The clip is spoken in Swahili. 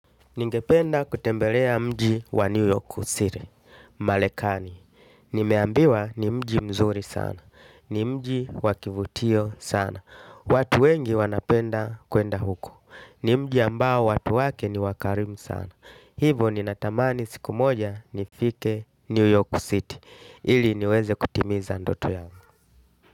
Ningependa kutembelea mji wa New York City, Marekani. Nimeambiwa ni mji mzuri sana, ni mji wa kivutio sana. Watu wengi wanapenda kwenda huko, ni mji ambao watu wake ni wakarimu sana. Hivo ninatamani siku moja nifike New York City, ili niweze kutimiza ndoto ya.